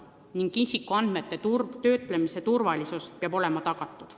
Ning isikuandmete töötlemise turvalisus peab olema tagatud.